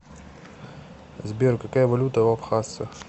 сбер какая валюта у абхазсцев